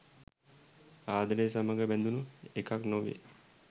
ආදරය සමඟ බැඳුන එකක් නොවේ.